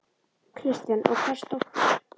Kristján: Og hvers dóttir?